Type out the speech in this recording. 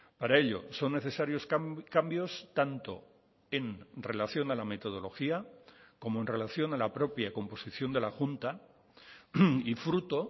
para ello son necesarios cambios tanto en relación a la metodología como en relación a la propia composición de la junta y fruto